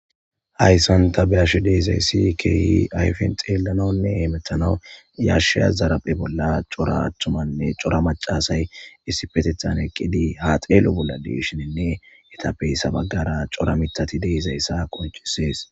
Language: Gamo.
Hayssan ta bea'she dizzayssi kehi ayfe xelanawune hemethanawu yashiya zarphe bolla cora thumayine cora maca assay issipethethan eqqidi ha xello bolla de'shine ethape sekera cora mithathi de'zayssa qoncisess.